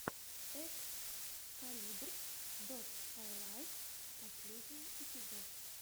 экскалибарс дот хайлайтс последний эпизод